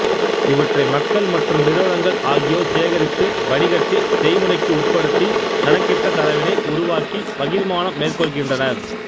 இவற்றை மக்கள் மற்றும் நிறுவனங்கள் ஆகியோர் சேகரித்து வடிகட்டி செய்முறைக்கு உட்படுத்தி கணக்கிட்ட தரவினை உருவாக்கி பகிர்மானம் மேற்கொள்கின்றனர்